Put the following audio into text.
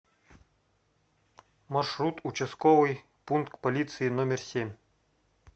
маршрут участковый пункт полиции номер семь